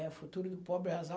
O futuro do pobre é azar.